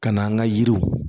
Ka na an ka yiriw